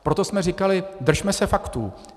Proto jsme říkali, držme se faktů.